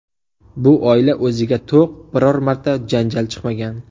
Bu oila o‘ziga to‘q, biror marta janjal chiqmagan.